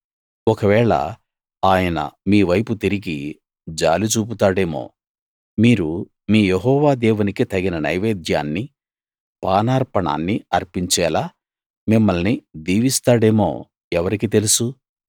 ఒకవేళ ఆయన మీ వైపు తిరిగి జాలి చూపుతాడేమో మీరు మీ యెహోవా దేవునికి తగిన నైవేద్యాన్ని పానార్పణాన్ని అర్పించేలా మిమ్మల్ని దీవిస్తాడేమో ఎవరికి తెలుసు